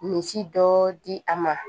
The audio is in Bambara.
Misi dɔ di a ma